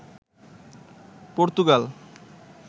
Portugal